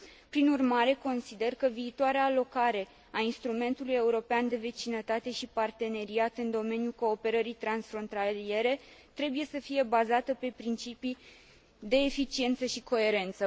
Prin urmare, consider că viitoarea alocare a Instrumentului European de Vecinătate și Parteneriat în domeniul cooperării transfrontaliere trebuie să fie bazată pe principii de eficiență și coerență.